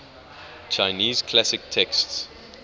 chinese classic texts